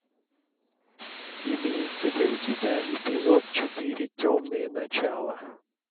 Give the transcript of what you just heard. имеется ли у тебя эпизод четыре темные начала